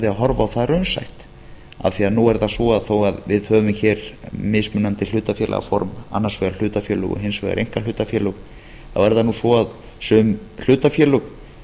horfa á það raunsætt af því nú er það svo þó við höfum hér mismunandi hlutafélagaform annars vegar hlutafélög og hins vegar einkahlutafélög þá er það nú svo að sum hlutafélög